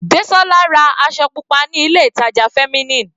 Desola ra aṣọ pupa ní ilé ìtàjà Feminine.